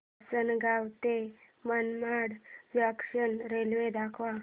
आसंनगाव ते Manmad junction railway दाखव